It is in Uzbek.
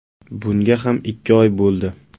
Bunga ham ikki oy bo‘ldi”.